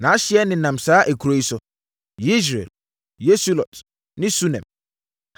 Nʼahyeɛ nenam saa nkuro yi so: Yesreel, Kesulot ne Sunem,